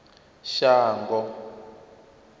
shango